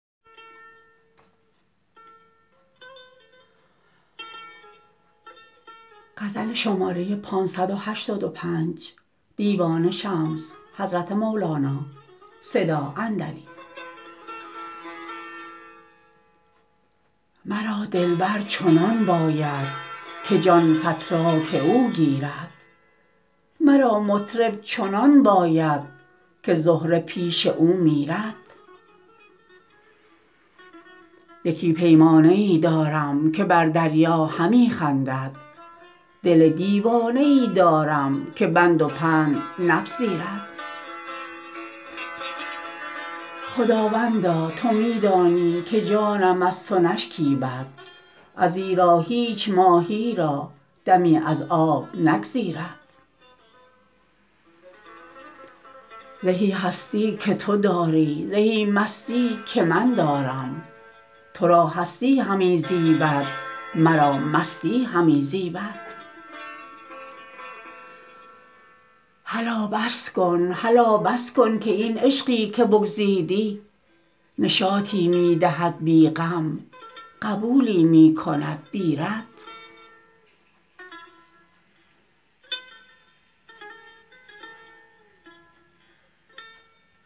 مرا دلبر چنان باید که جان فتراک او گیرد مرا مطرب چنان باید که زهره پیش او میرد یکی پیمانه ای دارم که بر دریا همی خندد دل دیوانه ای دارم که بند و پند نپذیرد خداوندا تو می دانی که جانم از تو نشکیبد ازیرا هیچ ماهی را دمی از آب نگزیرد زهی هستی که تو داری زهی مستی که من دارم تو را هستی همی زیبد مرا مستی همی زیبد هلا بس کن هلا بس کن که این عشقی که بگزیدی نشاطی می دهد بی غم قبولی می کند بی رد